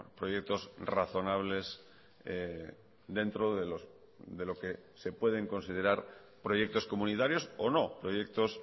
proyectos razonables dentro de lo que se pueden considerar proyectos comunitarios o no proyectos